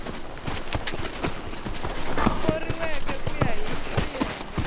thoriweke ku ya hi xiyenge